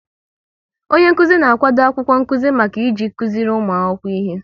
Onyenkụzi na-akwado akwụkwọ nkụzi maka iji kụziri ụmụ akwụkwọ ihe